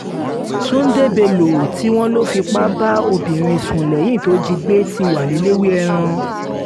túnde bello tí wọ́n lọ fipá bá obìnrin sùn lẹ́yìn tó jí i gbé ti wà lẹ́lẹ́wẹ́ẹ́ràn